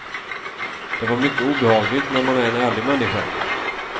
Det var mycket obehagligt när man är en ärlig människa.